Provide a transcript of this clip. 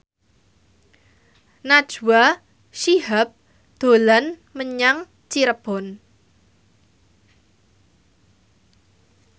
Najwa Shihab dolan menyang Cirebon